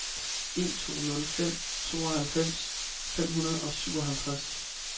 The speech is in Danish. en to nul fem tooghalvfems fem hundrede og syvoghalvtreds